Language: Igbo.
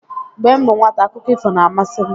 Mgbe m bụ nwata, akụkọ ifo na-amasị m